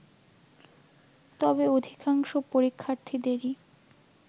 তবে অধিকাংশ পরীক্ষার্থীদেরই